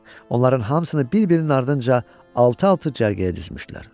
Onların hamısını bir-birinin ardınca altı-altı cərgəyə düzmüşdülər.